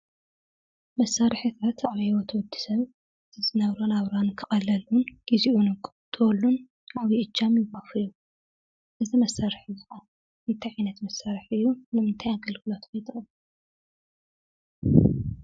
መሳርሕታት ኣብ ሂወት ወዲ ሰብ ዝነብሮ ነብራ ክቀለሉን ግዝይኡ ክቁጠበሉን ዓብይ እጃም የውፍዩ። እዙይ መሳርሒ እዙይ እንታይ ዓይነት መሳርሒ እዩ? ንምንታይ ኣገልግሎት ይጠቅም?